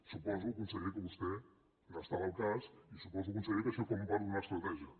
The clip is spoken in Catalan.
suposo conseller que vostè n’estava al cas i suposo conseller que això forma part d’una estratègia